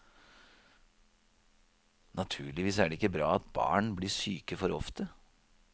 Naturligvis er det ikke bra at barn blir syke for ofte.